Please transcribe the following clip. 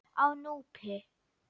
Á Núpi